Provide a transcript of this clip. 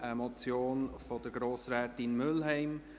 Es ist eine Motion von Grossrätin Mühlheim.